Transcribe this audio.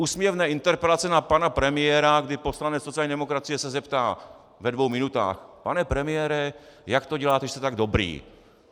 - úsměvné interpelace na pana premiéra, kdy poslanec sociální demokracie se zeptá ve dvou minutách: pane premiére, jak to děláte, že jste tak dobrý?